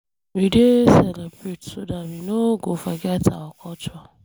We dey celebrate so dar we know go forget our culture.